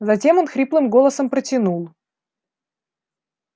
затем он хриплым голосом протянул